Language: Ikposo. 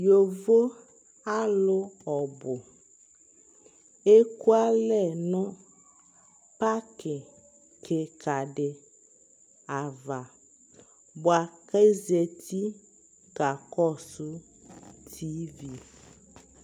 yɔvɔ alʋ ɔbʋ ɛkʋalɛ nʋ parki kikaa si aɣa bʋakʋ azati kakɔsʋ TV